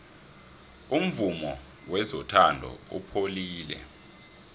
umvumo wezothando upholile